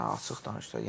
Açıq danışaq.